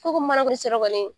Ko ko mana